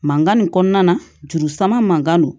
Mankan nin kɔnɔna na juru sama man don